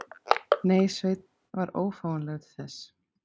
Nei, Svenni var ófáanlegur til þess.